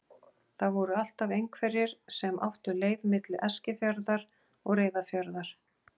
Það voru alltaf einhverjir sem áttu leið milli Eskifjarðar og Reyðarfjarðar.